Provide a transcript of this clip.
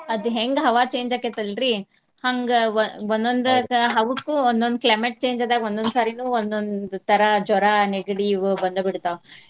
ಅದ್ ಹೆಂಗ ಹವಾ change ಆಕ್ಕೇತಿ ಅಲ್ರಿ ಹಂಗ ಒಂದ್ ಒಂದೊಂದಕ್ಕ ಹವಕ್ಕು ಒಂದೊಂದ್ climate change ಆದಾಗ್ ಒಂದೊಂದ್ ಸಾರಿನು ಒಂದೊಂದ್ ತರಾ ಜ್ವರಾ, ನೆಗಡಿ ಅವ್ ಬಂದ ಬಿಡ್ತಾವ .